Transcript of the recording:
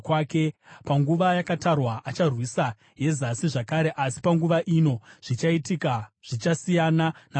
“Panguva yakatarwa acharwisa yeZasi zvakare, asi panguva ino zvichaitika zvichasiyana napakutanga.